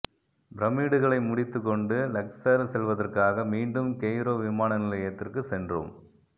பிரமிட்டுகளை முடித்துக்கொண்டு லக்சர் செல்வதற்காக மீண்டும் கெய்ரோ விமான நிலயத்திற்கு சென்றோம்